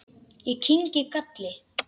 Ég kyngi galli.